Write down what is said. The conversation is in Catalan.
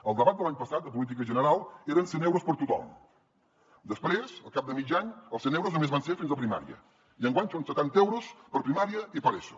al debat de l’any passat de política general eren cent euros per a tothom després al cap de mig any els cent euros només van ser fins a primària i enguany són setanta euros per a primària i per a eso